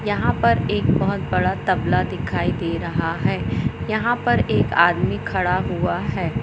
यहां पर एक बहुत बड़ा तबला दिखाई दे रहा है यहां पर एक आदमी खड़ा हुआ है।